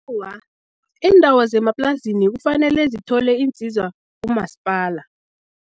Awa, iindawo zemaplazini kufanele zithole iinsiza kumasipala.